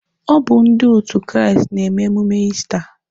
Ọ bụ ndị òtù Kraịst na-eme emume Ista.